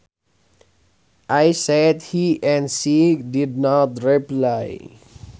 I said hi and she did not reply